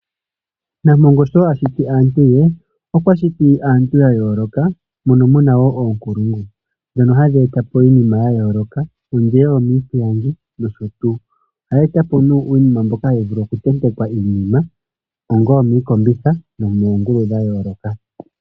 Nampongo sho ashiti aantu ye, okwashiti aantu yayoloka mono muna wo oonkulungu. Dhono ohadhi etapo iinima yayooloka ongele omiipilangi nosho tuu. Ohaya etapo nee uunima mboka hawu vulu okutentekwa iinima ongele omookombitha nenge moongulu dhayooloka.